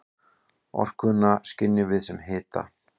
Orkuna skynjum við sem hita.